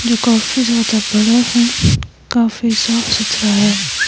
जो काफी ज्यादा बड़ा है काफी साफ सुथरा है.